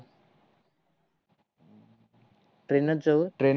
train नस जाऊ या